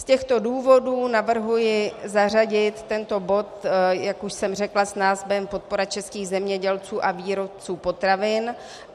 Z těchto důvodů navrhuji zařadit tento bod, jak už jsem řekla, s názvem Podpora českých zemědělců a výrobců potravin.